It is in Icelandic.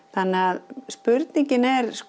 þannig að spurningin er